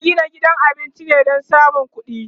ana Gina gidan cin abinci ne Dan samun ƙuɗi